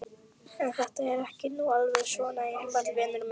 En þetta er nú ekki alveg svona einfalt, vinur minn.